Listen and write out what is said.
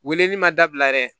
Weleli ma dabila yɛrɛ